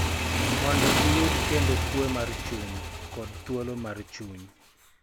Mondo giyud kendo kuwe mar chuny kod thuolo mar chuny.